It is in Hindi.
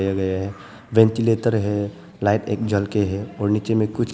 वेंटिलेटर है लाइट एक जल के है और नीचे में कुछ--